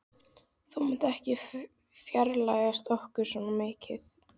Þú mátt ekki fjarlægjast okkur svona mikið.